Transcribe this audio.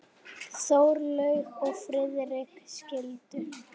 Skál fyrir þér.